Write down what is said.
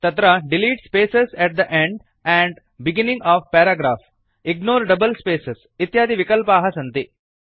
तत्र delete spaces at the end and beginning of paragraph ignore double spaces इत्यादि विकल्पाः सन्ति